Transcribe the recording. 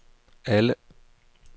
alle